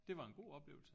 Det var en god oplevelse